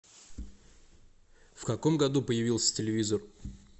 в каком году появился телевизор